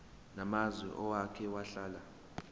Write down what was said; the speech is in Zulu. namazwe owake wahlala